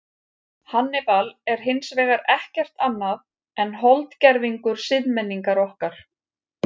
Hannibal er hins vegar ekkert annað en holdgervingur siðmenningar okkar.